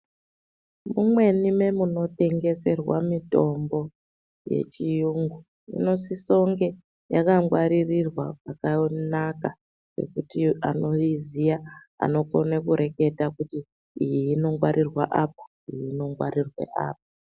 Mumweni memunotengeserwa mitombo yechiyungu inosisonge yakangwaririrwa pakanaka nekuti anoyiziya anokone kureketa kuti iyi inongwarirwa apo iyi inongwarirwe apo